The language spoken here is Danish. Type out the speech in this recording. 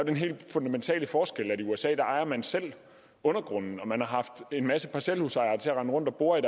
den helt fundamentale forskel at i usa ejer man selv undergrunden og man har haft en masse parcelhusejere til at rende rundt og bore i